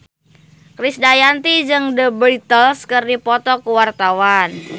Krisdayanti jeung The Beatles keur dipoto ku wartawan